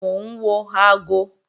Mò ń wo aago